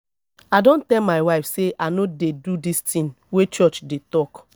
i don tell my wife say i no dey do dis thing wey church dey talk